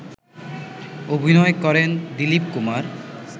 অভিনয় করেন দীলিপ কুমার